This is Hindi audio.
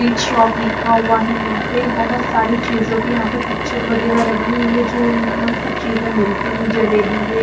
ईट शॉप लिखा हुआ हैं यहाँ पे बहुत सारी चीजों की यहाँ पे पिक्चर वगैरह लगी हुई है जो इनके सब चीजें मिलती हैं जलेबी हे।